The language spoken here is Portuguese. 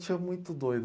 Tinha muito doido.